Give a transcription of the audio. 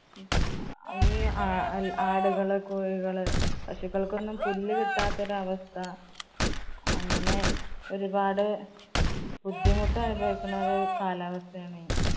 ആടുകള്, കോഴികള്, പശുക്കള്‍ക്കൊന്നും പുല്ല് കിട്ടാത്തൊരവസ്ഥ അങ്ങനെ ഒരുപാട് ബുദ്ധിമുട്ടനുഭവിക്കുന്ന ഒരു കാലാവസ്ഥയാണ്.